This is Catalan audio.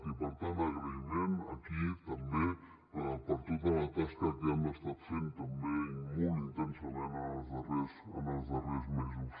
i per tant agraïment aquí també per tota la tasca que han estat fent també i molt intensament en els darrers mesos